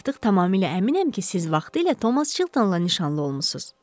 Artıq tamamilə əminəm ki, siz vaxtilə Thomas Chiltonla nişanlı olmusunuz.